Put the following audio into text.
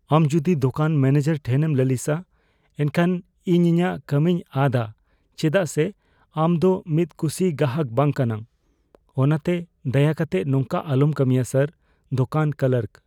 ᱟᱢ ᱡᱚᱫᱤ ᱫᱳᱠᱟᱱ ᱢᱚᱱᱮᱡᱟᱨ ᱴᱷᱮᱱ ᱮᱢ ᱞᱟᱹᱞᱤᱥᱟ, ᱮᱱᱠᱷᱟᱱ ᱤᱧ ᱤᱧᱟᱜ ᱠᱟᱹᱢᱤᱧ ᱟᱫᱼᱟ ᱪᱮᱫᱟᱜ ᱥᱮ ᱟᱢ ᱫᱚ ᱢᱤᱫ ᱠᱩᱥᱤ ᱜᱚᱦᱟᱠ ᱵᱟᱝ ᱠᱟᱱᱟᱢ, ᱚᱱᱟᱛᱮᱫᱟᱭᱟ ᱠᱟᱛᱮ ᱱᱚᱝᱠᱟ ᱟᱞᱚᱢ ᱠᱟᱹᱢᱤᱭᱟ, ᱥᱟᱨ ᱾ (ᱫᱳᱠᱟᱱ ᱠᱞᱟᱨᱠ)